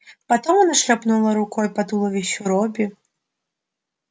потом она шлёпнула рукой по туловищу робби